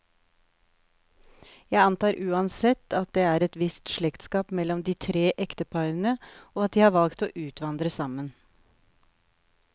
Jeg antar uansett, at det er et visst slektskap mellom de tre ekteparene, og at de har valgt å utvandre sammen.